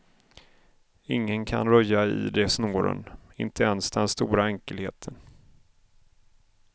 Ingen kan röja i de snåren, inte ens den stora enkelheten.